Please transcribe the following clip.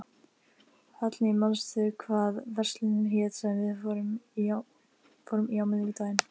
Hallný, manstu hvað verslunin hét sem við fórum í á miðvikudaginn?